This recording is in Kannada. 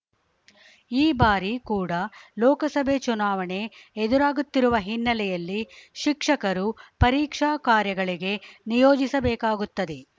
ಈ ಬಾರಿ ಕೂಡ ಲೋಕಸಭೆ ಚುನಾವಣೆ ಎದುರಾಗುತ್ತಿರುವ ಹಿನ್ನೆಲೆಯಲ್ಲಿ ಶಿಕ್ಷಕರು ಪರೀಕ್ಷಾ ಕಾರ್ಯಗಳಿಗೆ ನಿಯೋಜಿಸಬೇಕಾಗುತ್ತದೆ